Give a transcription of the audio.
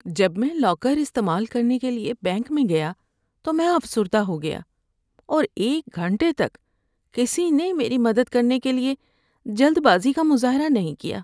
جب میں لاکر استعمال کرنے کے لیے بینک میں گیا تو میں افسردہ ہو گیا اور ایک گھنٹے تک کسی نے میری مدد کرنے کے لیے جلد بازی کا مظاہرہ نہیں کیا۔